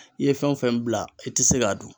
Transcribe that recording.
I ye fɛn o fɛn bila i tɛ se k'a dun.